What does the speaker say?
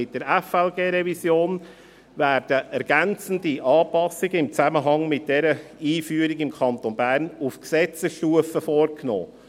Mit der FLG-Revision werden ergänzende Anpassungen im Zusammenhang mit dieser Einführung im Kanton Bern auf Gesetzesstufe vorgenommen.